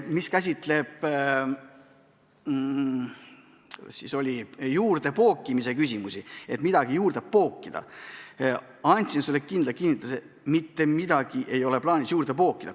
Mis puutub soovi midagi juurde pookida, siia ma kinnitasin sulle, et mitte midagi ei ole plaanis juurde pookida.